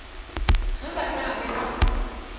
ge ba tla be ba